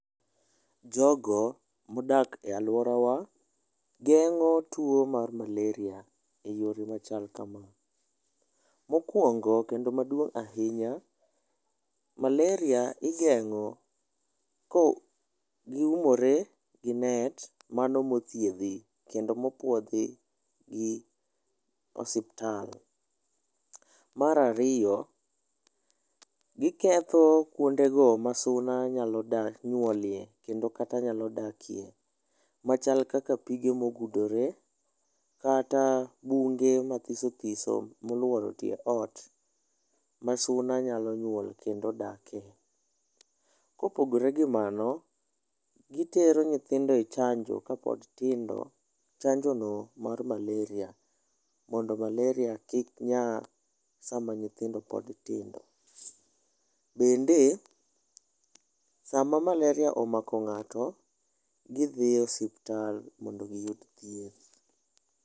Jogo modak e aluorawa, geng'o tuo mar maleria e yore machal kama. Mokuongo kendo maduong' ahinya, maleria igeng'o ko gi umore gi net mano mothiedhi kendo mopuodhi gi osiptal. Mar ariyo, gi ketho kuondego ma suna nyalo nyuolie kendo kata nyalo dakie machal kaka pige mogudore kata bunge mathiso thiso moluoro tie oot ma suna nyalo nyuole kendo dake. Kopogore gi mano, gi tero nyithindo e chanjo kapod tindo. Chanjo no mar maleria mondo maleria kik nyaa sama nyithindo pod tindo. Bende sama maleria omako ng'ato, gi dhie osiptal mondo gi yud thieth.